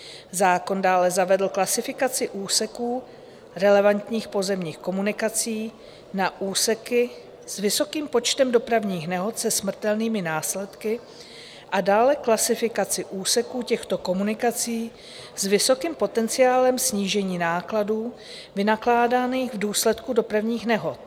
Zákon dále zavedl klasifikaci úseků relevantních pozemních komunikací na úseky s vysokým počtem dopravních nehod se smrtelnými následky a dále klasifikaci úseků těchto komunikací s vysokým potenciálem snížení nákladů, vynakládaných v důsledku dopravních nehod.